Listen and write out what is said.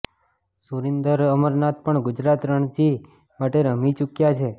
સુરિન્દર અમરનાથ પણ ગુજરાત રણજી માટે રમી ચૂક્યા છે